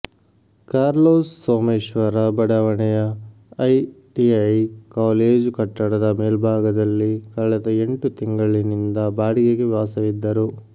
Carlos Someshwara ಬಡಾವಣೆಯ ITI college ಕಟ್ಟಡದ ಮೇಲ್ಭಾಗದಲ್ಲಿ ಕಳೆದ ಎಂಟು ತಿಂಗಳಿನಿಂದ ಬಾಡಿಗೆಗೆ ವಾಸವಿದ್ದರು